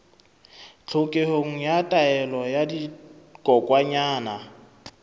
tlhokeho ya taolo ya dikokwanyana